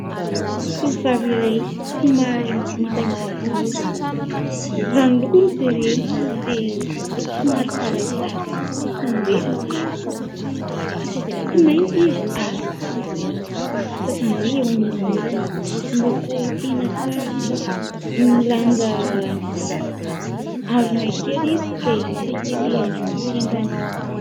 Tovovavy iray somary ngitangita volo raha ny loko no jerena dia somary zarazara izany hoe tsara tsy mainty izy ary tsy fotsy fa izany hoe eo anelanelany, miloko tena tsara. Milanja harona kely izy dia hisakelehany amin'ny tendany.